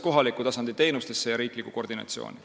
Kohaliku tasandi teenustesse ja riiklikku koordinatsiooni.